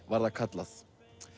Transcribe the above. var það kallað